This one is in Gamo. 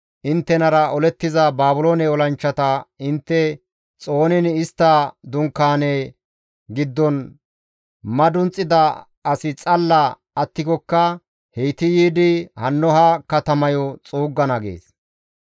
Inttenara olettiza Baabiloone olanchchata intte xooniin istta dunkaane giddon madunxida asi xalla attikokka heyti yiidi hanno ha katamayo xuuggana» gees.